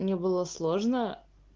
мне было сложно